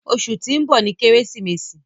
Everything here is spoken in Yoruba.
Ọṣù tí n bọ ní Keresimesi